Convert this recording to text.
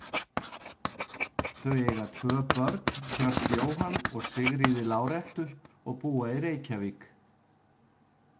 Þau eiga tvö börn, Hjört Jóhann og Sigríði Lárettu og búa í Reykjavík.